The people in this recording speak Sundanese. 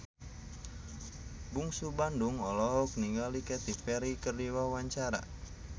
Bungsu Bandung olohok ningali Katy Perry keur diwawancara